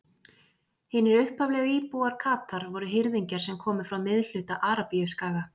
Hinir upphaflegu íbúar Katar voru hirðingjar sem komu frá miðhluta Arabíuskaga.